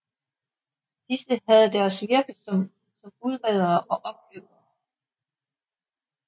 Disse havde deres virke som udredere og opkøbere